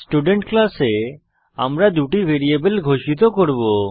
student ক্লাসে আমরা দুটি ভ্যারিয়েবল ঘোষিত করব